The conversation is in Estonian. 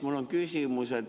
Mul on küsimus.